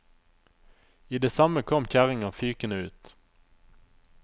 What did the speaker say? I det samme kom kjerringa fykende ut.